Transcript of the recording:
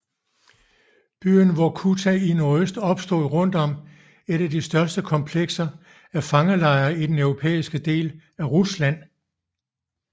Byen Vorkuta i nordøst opstod rundt om et af de største komplekser af fangelejre i den europæiske del af Rusland